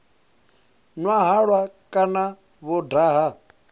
nwa halwa kana vho daha